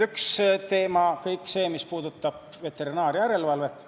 Üks teema on kõik see, mis puudutab veterinaarjärelevalvet.